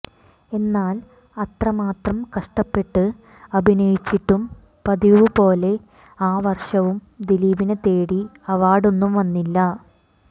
എന്നാൽ അത്രമാത്രം കഷ്ടപ്പെട്ട് അഭിനയിച്ചിട്ടും പതിവു പോലെ ആ വർഷവും ദിലീപിനെ തേടി അവാർഡൊന്നും വന്നില്ല